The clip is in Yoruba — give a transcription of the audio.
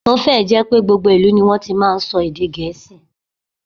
Ó fẹ́ ẹ̀ jẹ́ pé gbogbo ìlú ní wọ́n ti máa ń sọ èdè Gẹ̀ẹ́sì